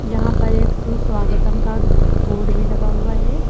यहां पर एक सुस्वागतम का बोर्ड भी लगा हुआ है।